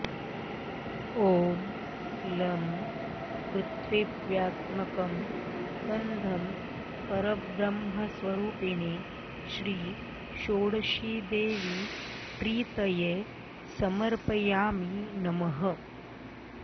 ॐ लं पृथिव्यात्मकं गन्धं परब्रह्मस्वरूपिणी श्रीषोडशीदेवी प्रीतये समर्पयामि नमः